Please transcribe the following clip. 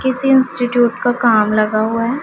किसी इंस्टिट्यूट का काम लगा हुआ है।